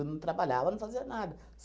Eu não trabalhava, não fazia nada.